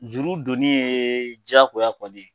Juru don ni ye jagoya kɔni ye